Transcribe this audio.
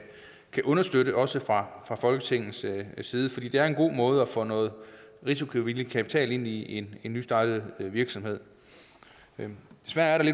understøtte også fra folketingets side fordi det er en god måde kan få noget risikovillig kapital ind i en nystartet virksomhed desværre er der